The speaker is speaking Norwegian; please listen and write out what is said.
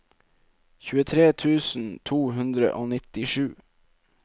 tjuetre tusen to hundre og nittisju